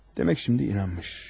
Demək şimdi inanmış.